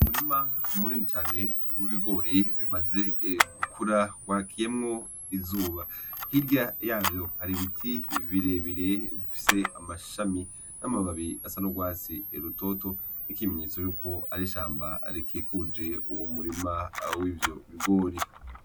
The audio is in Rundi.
Umurima munini cane w'ibigori bimaze gukura wakiyemwo izuba , hirya yavyo hari ibiti birebire bifise amashami n'amababi asa n'urwatsi rutoto, nk'ikimenyetso yuko ar'ishamba rikikuje uwo murima w'ivyo bigori .